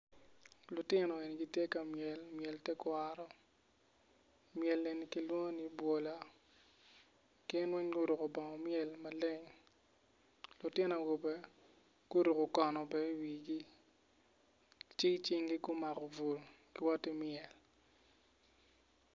lutino eni gitye ka myel myel tekwaro myel eni kilwongo ni bwola gin weng guruko bongo myel maleng lutino awobe guruko kono bene iwigi ci icinggi gumako bul giwoti myel.